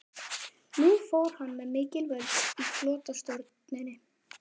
Nú fór hann með mikil völd í flotastjórninni.